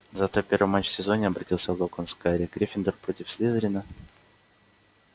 завтра первый матч в сезоне обратился локонс к гарри гриффиндор против слизерина